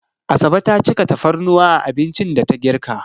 Asabe ta cika tafarnuwa a abincin da ta girka.